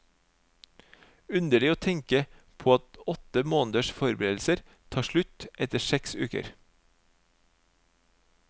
Underlig å tenke på at åtte måneders forberedelser tar slutt etter seks uker.